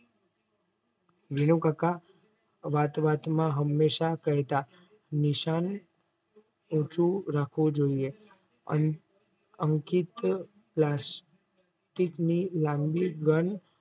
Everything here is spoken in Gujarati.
વિનુકાકા વાત વાતમાં હંમેશા કેહતા નિશાન ઉંચુ રાખવું જોઈએ. અંકિત પ્લાસ્ટીક ની લાંબી ગન